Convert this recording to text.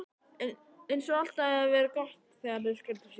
Eins og allt hafi verið gott þegar þau skildu síðast.